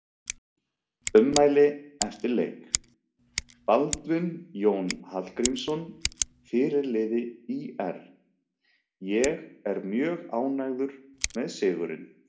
Ummæli eftir leik: Baldvin Jón Hallgrímsson fyrirliði ÍR: Ég er mjög ánægður með sigurinn.